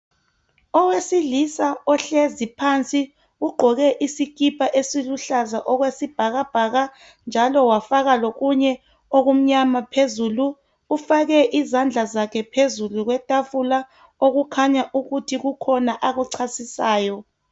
Owesilisa ohlezi phansi ugqoke isikipa esiluhlaza okwesibhakabhaka njalo wafaka lokunye okumnyama phezulu ufake izandla zakhe phezulu kwetafula okukhanya ukuthi kukhona akuchasisayo.